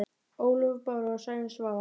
Ólöf Bára og Sæunn Svava.